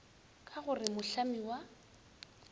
ka go re mohlami wa